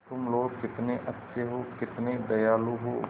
तुम लोग कितने अच्छे हो कितने दयालु हो